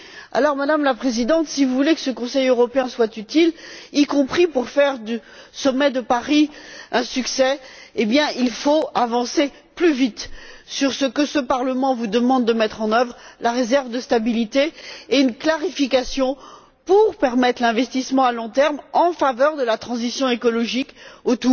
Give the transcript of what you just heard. Alors, Madame la Présidente, si vous voulez que ce Conseil européen soit utile, y compris pour faire du sommet de Paris un succès, il faut avancer plus vite sur ce que ce Parlement vous demande de mettre en œuvre, à savoir la réserve de stabilité et une clarification pour permettre l'investissement à long terme en faveur de la transition écologique face